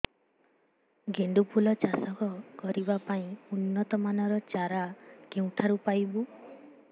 ଗେଣ୍ଡୁ ଫୁଲ ଚାଷ କରିବା ପାଇଁ ଉନ୍ନତ ମାନର ଚାରା କେଉଁଠାରୁ ପାଇବୁ